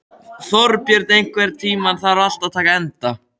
Þorbjörn, einhvern tímann þarf allt að taka enda.